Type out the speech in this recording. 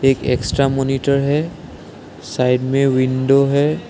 एक extra monitor है side में विंडो है।